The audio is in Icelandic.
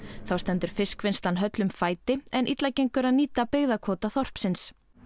þá stendur fiskvinnslan höllum fæti en illa gengur að nýta byggðakvóta þorpsins